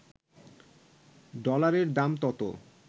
ডলারের দাম তত